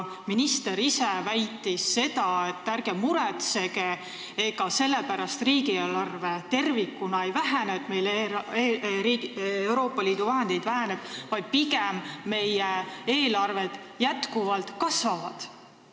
Minister ise väitis, et ärge muretsege, ega riigieelarve tervikuna selle pärast ei vähene, et Euroopa Liidu vahendid vähenevad, pigem meie eelarved jätkuvalt kasvavad.